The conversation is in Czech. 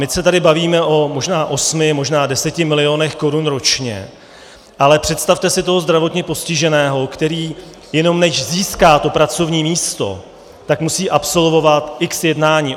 My se tady bavíme o možná osmi, možná deseti milionech korun ročně, ale představte si toho zdravotně postiženého, který jenom než získá to pracovní místo, tak musí absolvovat x jednání.